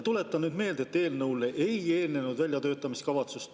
Tuletan meelde, et eelnõule ei eelnenud väljatöötamiskavatsust.